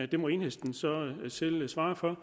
det må enhedslistens selv svare for